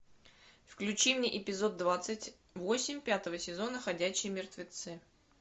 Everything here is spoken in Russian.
включи мне эпизод двадцать восемь пятого сезона ходячие мертвецы